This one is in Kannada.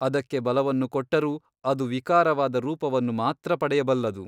ಅದಕ್ಕೆ ಬಲವನ್ನು ಕೊಟ್ಟರೂ ಅದು ವಿಕಾರವಾದ ರೂಪವನ್ನು ಮಾತ್ರ ಪಡೆಯಬಲ್ಲದು.